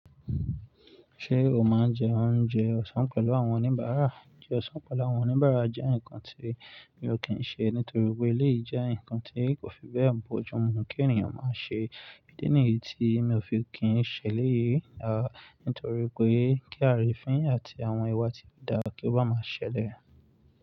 Ṣé o máa ń jẹ oúnjẹ ọ̀sán pẹ̀lú àwọn oníbàárà? Discussion pẹ̀lú àwọn oníbàárà jẹ́ nǹkan tí mi ò kí ń ṣe nítorí pé eléyìí jẹ́ nǹkan tí kò fi bẹ́ẹ̀ bojú mu kí ènìyàn máa ṣe. Ídí nìyí tí mi ò fi kí ń ṣẹlẹ̀ yìí, nítorí pé kí arífín àti àwọn ìwà tí kò dára kí ó bá máa ṣẹlẹ̀